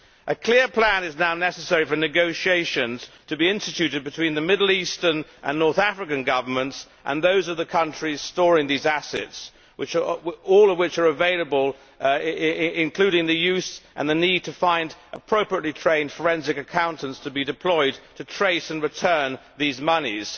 A clear plan is now necessary for negotiations to be instituted between the Middle Eastern and North African governments and those of the countries storing these assets all of which are available including the need to find appropriately trained forensic accountants to be deployed to trace and return these monies.